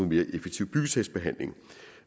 mere effektiv byggesagsbehandling